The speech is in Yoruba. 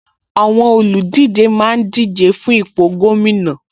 Àwọn olùdíje máa ń díje fún ipò gómìnà